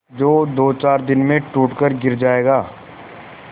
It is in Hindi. जो दोचार दिन में टूट कर गिर जाएगा